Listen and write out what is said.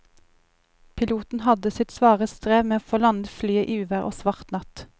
Piloten hadde sitt svare strev med å få landet flyet i uvær og svart natt.